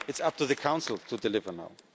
It's up to the Council to deliver